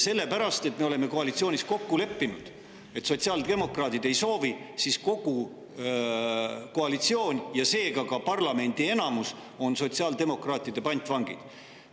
Sellepärast, et koalitsioonis on lepitud sellega, et sotsiaaldemokraadid seda ei soovi, on kogu koalitsioon ja seega ka parlamendi enamus sotsiaaldemokraatide pantvangid.